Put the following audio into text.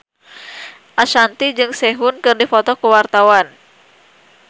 Ashanti jeung Sehun keur dipoto ku wartawan